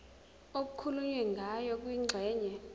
okukhulunywe ngayo kwingxenye